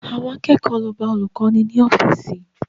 Àwọn akẹ́kọ̀ọ́ lọ bá olùkọ́ni ní ọ́fíìsì